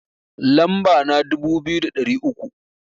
Lamba na dubu biyu da ɗari uku